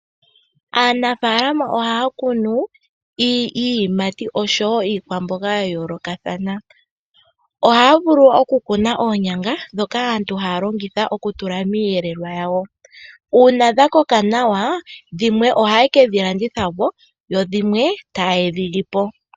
Aanafaalama ohaya kunu iiyimati oshowo iikwamboga ya yoolokathana. Ohaya vulu okukuna oonyanga ndhoka aantu haya longitha okutula miiyelelwa yawo. Uuna dha koka nawa, dhimwe ohaye kedhi landitha po, dho dhimwe taye dhi li po.